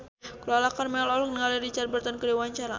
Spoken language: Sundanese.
Lala Karmela olohok ningali Richard Burton keur diwawancara